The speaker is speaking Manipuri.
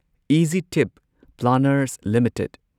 easy trip planners limited